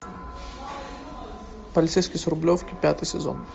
полицейский с рублевки пятый сезон